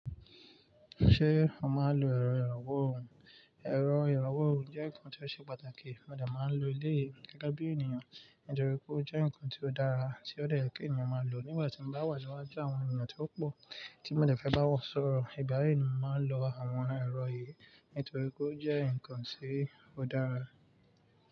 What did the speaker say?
Ṣé o máa ń lo ẹ̀rọ ìrànwọ́ òhún? Ẹ̀rọ ìrànwọ́ òhún jẹ́ nǹkan tó ṣe pàtàkì, mo dẹ̀ máa ń lo eléyii gege bí ènìyàn nítorí pé ó jẹ́ nǹkan tí ó dára tí ó de ye ki eniyan máa lò nígbà tí mo bá wà niwájú àwọn ènìyàn tí ó pò tí mo dẹ̀ fẹ́ bá wọn sọ̀rọ̀. Ìgba yii ni mò ń lo àwọn ẹ̀rọ yìí nítorí pé ó jẹ́ nǹkan tí ó dára.